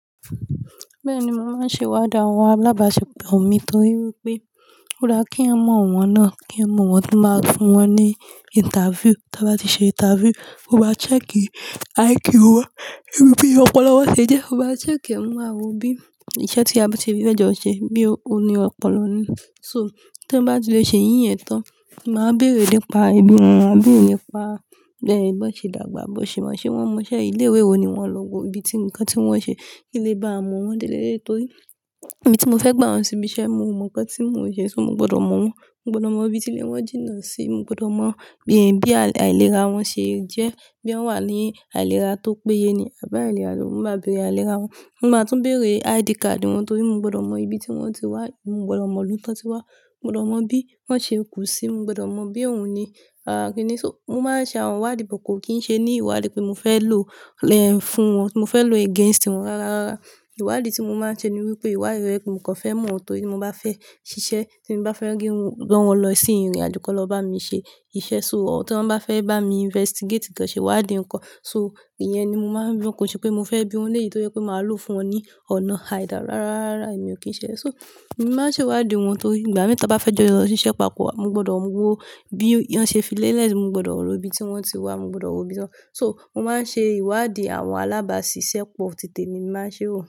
Bẹ́ẹ̀ ni mo máa ń ṣe ìwádìí àwọn alábàáṣepọ̀ mi torí wípé ó dá kí eyan mọ̀ wọ́n náà, kí eyan mọ wọn ki máa fún wọn ní interview. Tí a bá ti ṣe interview, mo ma wà check kí IQ wá, irú bí ọpọlọ wọ́n ṣe jẹ́, mo má check mo ma wo bí iṣẹ́ tí a bá ṣe fẹ́ẹ̀ jọ ṣe, boya òni ọpọlọ ni. So tí wọ́n bá tilẹ̀ ṣe iyì yẹ̀n tán, màá wa béèrè nípa ibi wọn, màá béèrè nípa bí won ṣe dàgbà, ṣe wọ́n mọ iṣẹ́ yi, lé ìwé wo ni wọ́n, ibi tí ǹkan tí wọ́n ṣe kì í lè bá a mọ wọ́n déle delé torí ibi tí mo fẹ́ gbà wọ́n síbi iṣẹ́, mo mọ ǹkan tí mò n ṣe, ṣó mo gbọdọ̀ mọ̀ wọ́n. Mo gbọdọ̀ mọ ibi tí ilé wọn jína sí, mo gbọdọ̀ mọ bí àìlera wọ́n ṣe jẹ́, boya wọ́n wà ní àìlera tó péye ni àbi àìlera. Mo máa béèrè àìlera wọ́n. Mo máa tún béèrè ID card wọ́n torí mo gbọdọ̀ mọ ibi tí wọ́n ti wá, mo gbọdọ̀ mọ ìlú tán tí wá, mo gbọdọ̀ mọ bí wọ́n ṣe kú sí, mo gbọdọ̀ mọ bí òun ní. So mo máa n ṣe àwọn ìwádìí bọ̀ kò kí ń ṣe ní ìwádìí pé mo fẹ́ lò lẹ́ ẹ̀ fún wọn, mo fẹ́ lò against wọ́n. Rárá, ìwádìí tí mo máa ń ṣe ni wípé ìwádìí to jẹ be mo kan fẹ́ mọ̀ ọ́n torí tí mo bá fẹ́ ṣiṣẹ́ tí mo bá fẹ́ ran wọn lọ sí ìrìnàjò kí wọ́n lọ bá mi ṣe iṣẹ́. So ọ̀tún bá fẹ́ bá mi investigate tán ṣe ìwádìí ǹkan. So ìyẹn ni mo máa ń lo kò kin ṣe pé mo fẹ́ bí wọ́n lèyí tojẹ pé màá lò fún wọn ní ọ̀nà àìda. Rárá, èmi ò kí ń ṣe. So mo máa ń ṣe ìwádìí wọn torí ìgbà mẹ́ta bá fẹ́ jọ yọ lọ sí iṣẹ́ papọ̀ wa, mo gbọdọ̀ mọ wò ó bí wọ́n ṣe fi ilé ẹ́ si, mo gbọdọ̀ mọ ìlú ibi tí wọ́n ti wá, mo gbọdọ̀ mọ ibi tán. So mo máa ń ṣe ìwádìí àwọn alábáàṣiṣẹ́ pọ̀, títí èmi mo ma ń ṣe wọ́n.